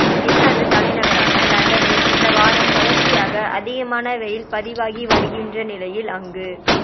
இங்கிலாந்து தலைநகரான லண்டனில் இந்த வாரம் தொடர்ச்சியாக அதிகமான வெயில் பதிவாகி வருகின்ற நிலையில் அங்கு